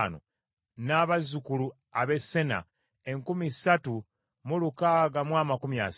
n’abazzukulu ab’e Sena enkumi ssatu mu lukaaga mu amakumi asatu (3,630).